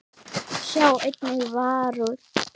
Sjá einnig Varúð.